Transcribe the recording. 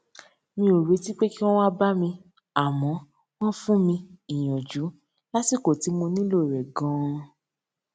mi ò retí pé kí wón wá bá mi àmó wón fún mi ìyànjú lásìkò tí mo nílò rè ganan